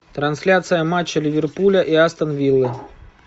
трансляция матча ливерпуля и астон виллы